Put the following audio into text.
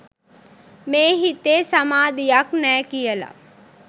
මේ හිතේ සමාධියක් නෑ කියල